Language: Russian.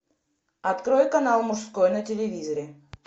открой канал мужской на телевизоре